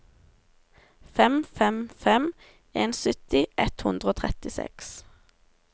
fem fem fem en sytti ett hundre og trettiseks